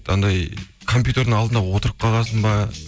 анандай компьютердің алдына отырып қалған соң ба